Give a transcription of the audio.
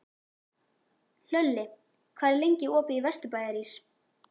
Hlölli, hvað er lengi opið í Vesturbæjarís?